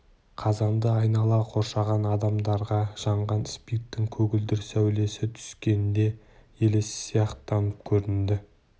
қазанды айнала қоршаған адамдарға жанған спирттің көгілдір сәулесі түскенде елес сияқтанып көрінді